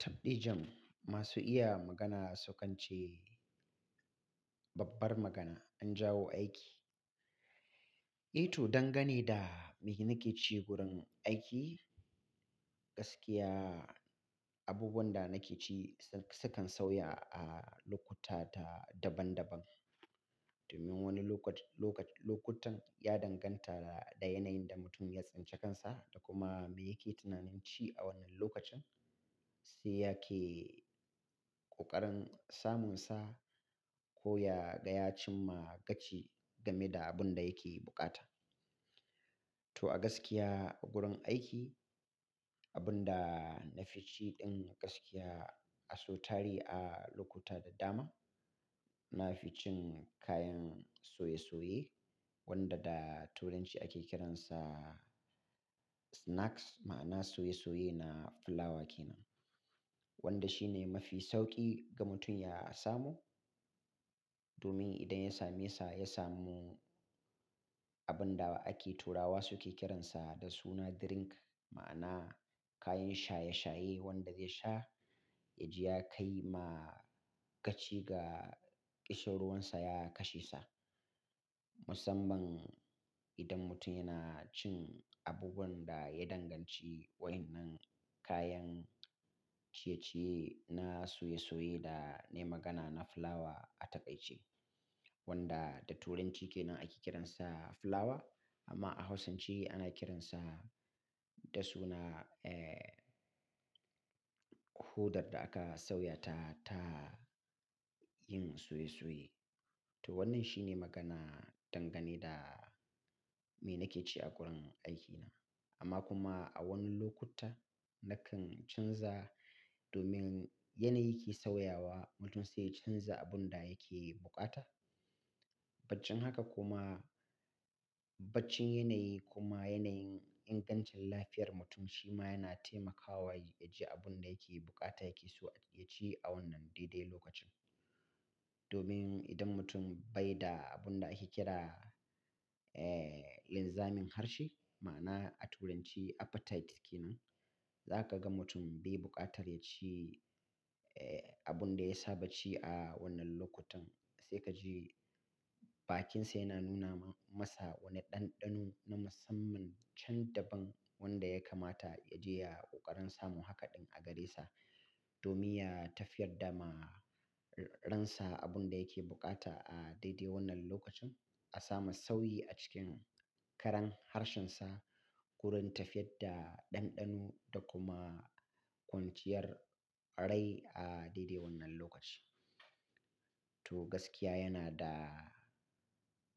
Taɓɗijan, masu iya magana sukance, babbar magana an jawo aiki. Ito, dangane da me nake ci gurin aiki, gaskiya abubuwan da nake ci sukan sauya a lokuta ta daban-daban. Domin wani lokut-lokac-lokutan ya danganta da yanayin da mutum ya tsince kansa, da kuma me yake tunanin ci a wannan lokacin, sai yake ƙoƙarin samun sa, ko ya gaya cimma gaci game da abun da yake buƙata. To a gaskiya a gurin aiki, abun da na fi ci ɗin gaskiya a sau tari a lokuta da dama, na fi cin kayan soye-soye, wanda da turanci ake kiransa, snacks, ma'ana soye-soye na fulawa kenan. Wanda shi ne mafi sauƙi, ga mutum ya samu. Domin idan ya same sa, ya samu abun da ake turawa suke kiransa da suna drink, ma'ana kayan shaye-shaye wanda ze sha, ya ji ya kai ma gaci ga ƙishin ruwan sa ya kashe sa. Musamman, idan mutum yana cin abubuwan da ya danganci wa'inan kayan ciye-ciye na soye-soye da ne magana na fulawa a taƙaice. Wanda da turanci kenan ake kiransa fulawa, amma a Hausanci ana kiransa da suna, eh, hodar da aka sauya ta, ta yin soye-soye. To wannan shi ne magana, dangane da me nake ci a gurin aikina. Amma kuma a wani lokutan, nakan canza domin yanayi ke sauyawa, mutum sai ya canza abun da yake buƙata. Baccin haka kuma, baccin yanayi kuma yanayin ingancin lafiyar mutum, shi ma yana taimakawa yaji abun da yake buƙata yake so ya ci a wannan daidai lokacin. Domin idan mutum bai da abun da ake kira, eh, linzamin harshe, ma'ana a turanci appetite kenan, za ka ga mutum bai buƙatar ya ci, eh, abun da ya saba ci a wannan lokutan. Sai ka ji bakin sa yana nuna masa wani ɗanɗano na musamman, can daban wanda ya kamata ya je ya ƙoƙarin samun haka ɗin a gare sa. Domin ya tafiyar da ma, ransa abun da yake buƙata a daidai wannan lokacin, a samu sauyi a cikin karan harshensa, gurin tafiyar da ɗanɗano da kuma kwanciyar rai a daidai wannan lokaci. To gaskiya yana da